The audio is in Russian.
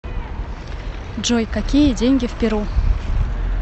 джой какие деньги в перу